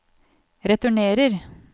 returnerer